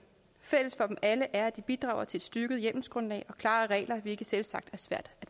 fælles for dem alle er at de bidrager til et styrket hjemmelsgrundlag og klarere regler hvilket selvsagt er svært